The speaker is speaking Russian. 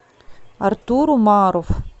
артур умаров